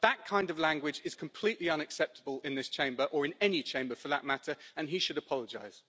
That kind of language is completely unacceptable in this Chamber or in any Chamber for that matter and he should apologise.